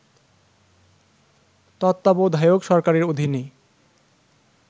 তত্ত্বাবধায়ক সরকারের অধীনে